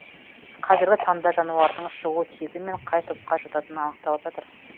қазіргі таңда жануардың шығу тегі мен қай топқа жататыны анықталып жатыр